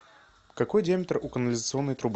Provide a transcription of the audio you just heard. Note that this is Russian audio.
какой диаметр у канализационной трубы